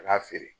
Ka n'a feere